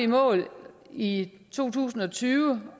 mål i to tusind og tyve